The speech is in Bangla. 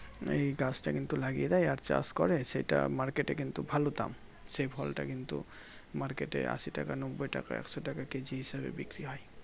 মানে এই গাছটা কিন্তু লাগিয়ে দেয় আর চাষ করে সেটা Market এ কিন্তু ভালো দাম সেই ফলটা কিন্তু Market এ আশি টাকা নব্বই টাকা একশো টাকা Kg হিসাবে বিক্রি হয়